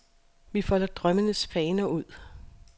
Vi folder drømmens faner ud.